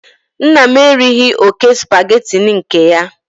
Nna m erighị oke Supagetii nke ya